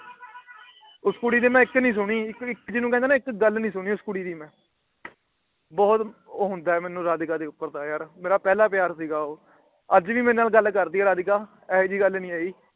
ਉਸ ਕੁੜੀ ਦੀ ਮੈ ਇੱਕ ਨਹੀਂ ਸੁਣੀ। ਇੱਕ ਵੀ ਜਿਹਨੂੰ ਕਹਿੰਦਾ ਨਾ ਇੱਕ ਗੱਲ ਨਹੀਂ ਸੁਣੀ ਉਸ ਕੁੜੀ ਦੀ ਮੈ । ਬਹੁਤ ਹੁੰਦਾ ਮੈਨੂੰ ਰਾਧਿਕਾ ਦੇ ਉਪਰ ਤੇ ਯਾਰ ਮੇਰਾ ਪਹਿਲਾ ਪਿਆਰ ਸੀ ਗਾ ਉਹ। ਅੱਜ ਵੀ ਮੇਰੇ ਨਾਲ ਗੱਲ ਕਰਦੀ ਏ ਰਾਧਿਕਾ ਇਹੋ ਜਿਹੀ ਗੱਲ ਨਹੀਂ ਹੇਗੀ।